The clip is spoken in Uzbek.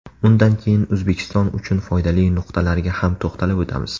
Undan keyin O‘zbekiston uchun foydali nuqtalarga ham to‘xtalib o‘tamiz.